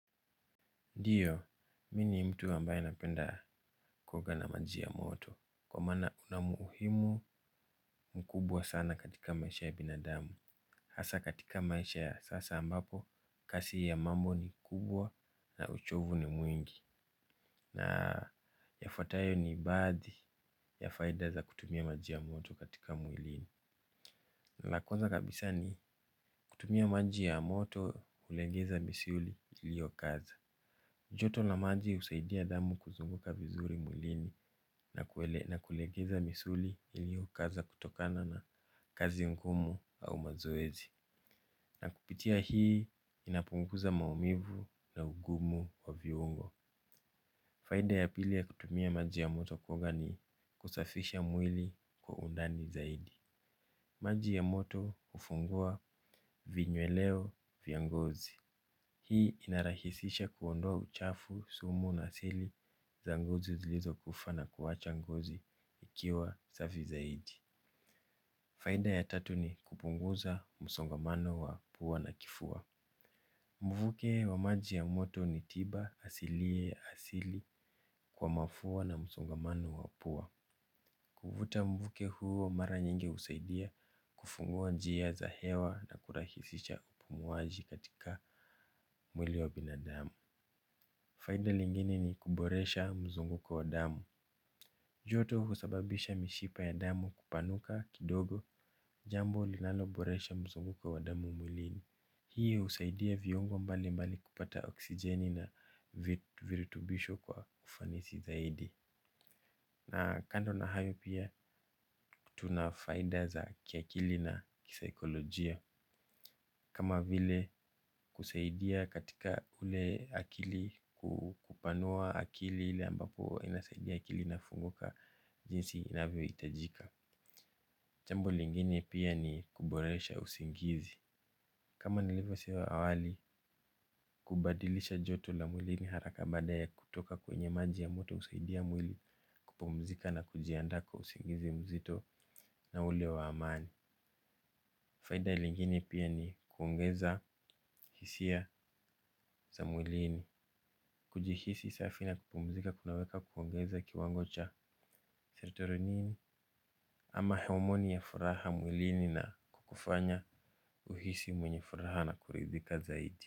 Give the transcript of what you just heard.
Ndiyo, mi ni mtu ambaye napenda kuoga na maji ya moto, kwa maana unamuhimu mkubwa sana katika maisha ya binadamu, hasa katika maisha ya sasa ambapo, kasi ya mambo ni kubwa na uchovu ni mwingi, na yafuatayo ni ibazi ya faida za kutumia maji ya moto katika mwilini. Nalakwanza kabisa ni kutumia maji ya moto ulegeza misuli ilio kaza. Joto la maji husaidia damu kuzunguka vizuri mwilini na kulegeza misuli iliyo kaza kutokana na kazi ngumu au mazoezi. Na kupitia hii inapunguza maumivu na ugumu wa viungo. Faida ya pili ya kutumia maji ya moto kuoga ni kusafisha mwili kwa undani zaidi. Maji ya moto kufungua vinyueleo vya ngozi. Hii inarahisisha kuondoa uchafu sumu na seli za ngozi zilizo kufaa na kuwacha ngozi ikiwa safi zaidi. Faida ya tatu ni kupunguza musongamano wa pua na kifua. Mbubuke wa maji ya moto ni tiba asiliye asili kwa mafua na musongamano wa pua. Kuvuta mvuke huo mara nyingi usaidia kufungua njia za hewa na kurahisisha upumuaji katika mwili wa binadamu faida lingine ni kuboresha mzunguko wa damu. Joto husababisha mishipa ya damu kupanuka kidogo jambo linalo boresha mzunguko wa damu mwilini. Hii usaidia viongo mbali mbali kupata oksijeni na virutubisho kwa ufanisi zaidi. Na kando na hayo pia tunafaida za kiakili na kisaikolojia. Kama vile kusaidia katika ule akili kukupanua akili ile ambapo inasaidia akili na funguka jinsi inavyo itajika. Jambo lingine pia ni kuboresha usingizi. Kama nilivyo sema awali, kubadilisha joto la mwili ni haraka baada ya kutoka kwenye maji ya moto. Usaidia mwili kupumzika na kujiandaa kwa usingizi mzito na ule wa amani. Faida ilingine pia ni kuongeza hisia za mwilini. Kujihisi safi na kupumzika kunaweka kuongeza kiwango cha seretoro nini ama homoni ya furaha mwilini na kufanya uhisi mwenye furaha mwilini na kuridhika zaidi.